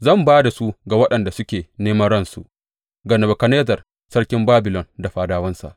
Zan ba da su ga waɗanda suke neman ransu, ga Nebukadnezzar sarkin Babilon da fadawansa.